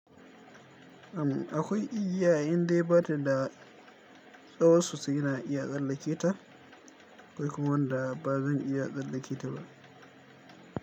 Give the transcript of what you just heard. Sannan akwai igiya, indai bada da lafiya tsawon su suna iya tsallake ta. Akwai kuma wanda ba zan iya tsallake ta ba.